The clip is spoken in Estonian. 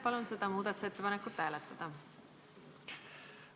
Palun seda muudatusettepanekut hääletada!